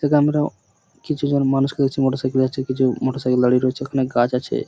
এইদিকে আমরা কিছু জন মানুষকে দেখছি মোটরসাইকেল -এ যাচ্ছে কিছু মোটরসাইকেল দাঁড়িয়ে রয়েছে অনেক গাছ আছে।